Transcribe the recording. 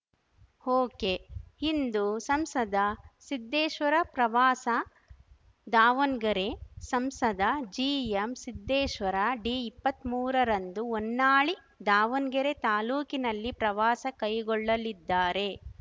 ಒಕೆಇಂದು ಸಂಸದ ಸಿದ್ದೇಶ್ವರ ಪ್ರವಾಸ ದಾವಣ್ ಗೆರೆ ಸಂಸದ ಜಿಎಂಸಿದ್ದೇಶ್ವರ ಡಿಇಪ್ಪತ್ಮೂರರಂದು ಹೊನ್ನಾಳಿ ದಾವಣ್ಗೆರೆ ತಾಲೂಕಿನಲ್ಲಿ ಪ್ರವಾಸ ಕೈಗೊಳ್ಳಲಿದ್ದಾರೆ